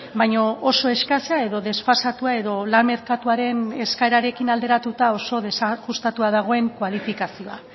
baina oso eskasa edo desfasatua edo lan merkatuaren eskaerarekin alderatuta oso desajustatua dagoen kualifikazioa